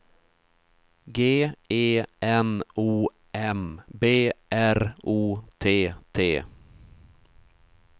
G E N O M B R O T T